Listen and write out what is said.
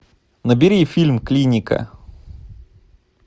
набери фильм клиника